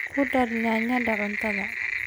ku dar yaanyada cuntada